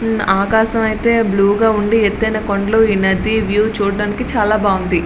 ఆకాశమైతే blue గా ఉందడి ఎత్తైన కొండల్ని ఈ నదిని వ్యూ చూడడానికి చాలా బాగుంది.